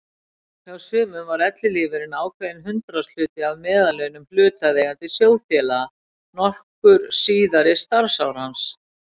Hjá sumum var ellilífeyririnn ákveðinn hundraðshluti af meðallaunum hlutaðeigandi sjóðfélaga nokkur síðari starfsár hans.